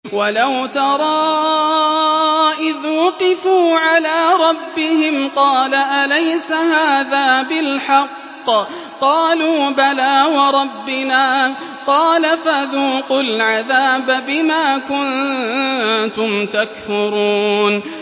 وَلَوْ تَرَىٰ إِذْ وُقِفُوا عَلَىٰ رَبِّهِمْ ۚ قَالَ أَلَيْسَ هَٰذَا بِالْحَقِّ ۚ قَالُوا بَلَىٰ وَرَبِّنَا ۚ قَالَ فَذُوقُوا الْعَذَابَ بِمَا كُنتُمْ تَكْفُرُونَ